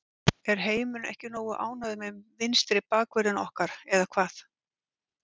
Er heimurinn ekki nógu ánægður með vinstri bakvörðinn okkar eða hvað?